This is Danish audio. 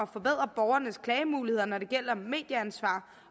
forbedre borgernes klagemuligheder når det gælder medieansvar